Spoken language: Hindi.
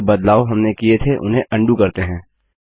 जो बदलाव हमने किए थे उन्हें अन्डू करते हैं